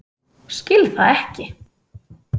Skil það ekki.